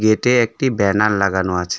গেটে একটি ব্যানার লাগানো আছে।